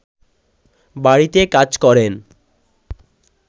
বাড়িতে কাজ করেন